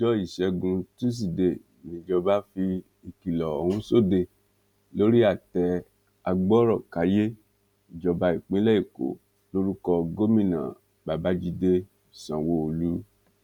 ọjọ ìṣẹgun tusidee níjọba fi ìkìlọ ọhún sóde lórí àtẹ agbọrọkàyé ìjọba ìpínlẹ èkó lórúkọ gómìnà babàjídé sanwóolu